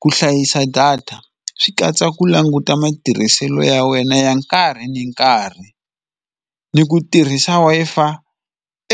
Ku hlayisa data swi katsa ku languta matirhiselo ya wena ya nkarhi ni nkarhi ni ku tirhisa Wi-Fi